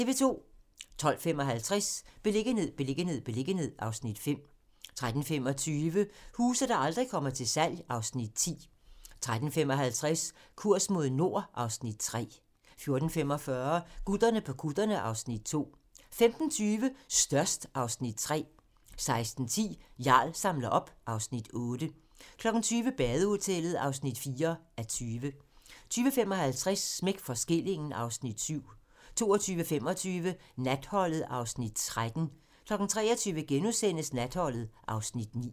12:35: Beliggenhed, beliggenhed, beliggenhed (Afs. 5) 13:25: Huse, der aldrig kommer til salg (Afs. 10) 13:55: Kurs mod nord (Afs. 3) 14:45: Gutterne på kutterne (Afs. 2) 15:20: Størst (Afs. 3) 16:10: Jarl samler op (Afs. 8) 20:00: Badehotellet (4:20) 20:55: Smæk for skillingen (Afs. 7) 22:25: Natholdet (Afs. 13) 23:00: Natholdet (Afs. 9)*